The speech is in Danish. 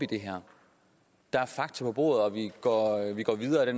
i det her der er fakta på bordet og vi går videre ad